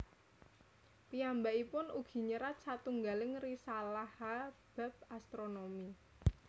Piyambakipun ugi nyerat satunggaling risalaha bab astronomi